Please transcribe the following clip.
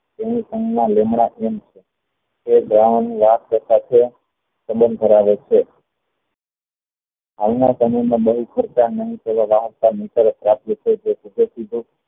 એક દરવાન ની વાત કરતા છે ફેરવે છે હાલ ના સમય માં